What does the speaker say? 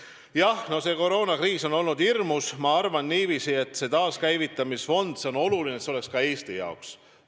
Jah, see koroonakriis on olnud hirmus ja ma arvan, et see taaskäivitamise fond on oluline ka Eesti jaoks.